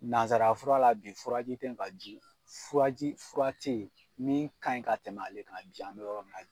Nanzara fura la bi furaji tɛ ye ka ji furaji fura tɛ ye min ka ɲi ka tɛmɛ ale kan bi an bɛ yɔrɔ min